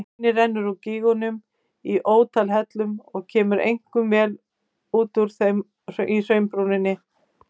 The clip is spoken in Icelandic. Hraunið rennur úr gígnum í ótal hellum og kemur einkum út úr þeim í hraunbrúninni.